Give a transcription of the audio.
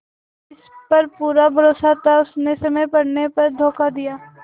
जिस पर पूरा भरोसा था उसने समय पड़ने पर धोखा दिया